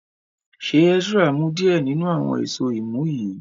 ṣe Ezra mu diẹ ninu awọn Èṣó imú yí?